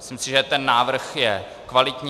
Myslím si, že ten návrh je kvalitní.